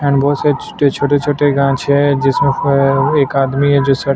--and बहोत सारे छोटे छोटे गान्छे है जिसमें फायर एक आदमी है जो सब--